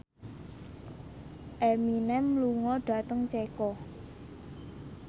Eminem lunga dhateng Ceko